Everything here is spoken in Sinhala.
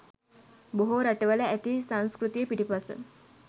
බොහෝ රටවල ඇති සංස්කෘතිය පිටුපස